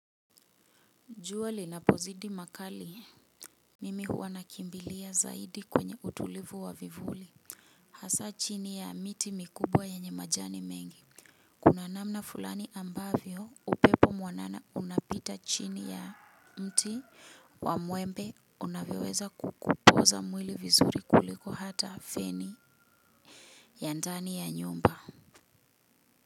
Juali na pozidi makali. Mimi huwa nakimbilia zaidi kwenye utulivu wa vivuli hasa chini ya miti mikubwa yenye majani mengi kuna namna fulani ambavyo upepo mwanana unapita chini ya mti wa muembe unavyoweza kukupoza mwili vizuri kuliko hata feni. Yandani ya nyumba.